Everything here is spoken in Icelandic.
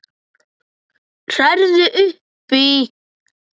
Hrærðu upp í!